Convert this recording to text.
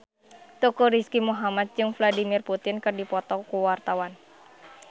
Teuku Rizky Muhammad jeung Vladimir Putin keur dipoto ku wartawan